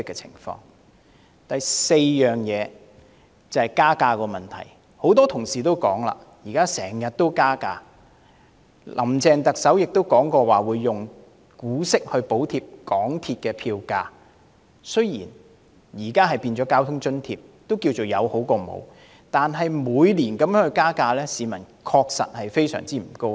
很多同事也曾提及，港鐵公司近年經常加價，"林鄭"特首也說過會以港鐵公司的股息補貼港鐵票價——雖然現已變成公共交通費用補貼，但有總算比沒有好——惟每年加價，市民的確非常不高興。